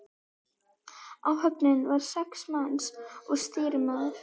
Áhöfnin var sex manns og stýrimaður.